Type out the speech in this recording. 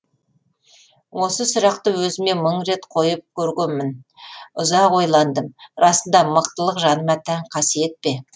осы сұрақты өзіме мың рет қойып көргенмін ұзақ ойландым расында мықтылық жаныма тән қасиет пе